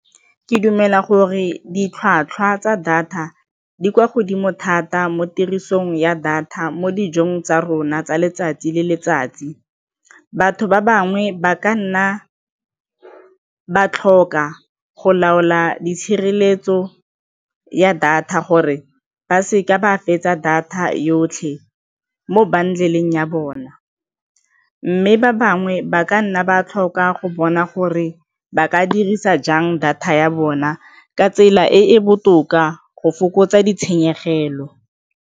Ke dumela gore ditlhwatlhwa tsa data di kwa godimo thata mo tirisong ya data mo dijong tsa rona tsa letsatsi le letsatsi. Batho ba bangwe ba ka nna ba tlhoka go laola di tshireletso ya data gore ba seka ba fetsa data yotlhe mo bundle-eng ya bona mme ba bangwe ba ka nna ba tlhoka go bona gore ba ka dirisa jang data ya bona ka tsela e e botoka go fokotsa ditshenyegelo.